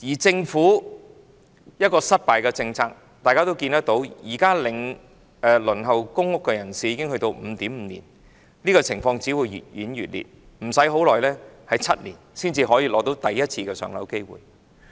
政府的政策失敗，大家有目共睹，現時的公屋輪候時間已長達 5.5 年，這個問題只會越演越烈，在不久的將來，可能要等待7年才得到第一次"上樓"機會。